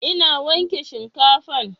Ina wanke shinkafan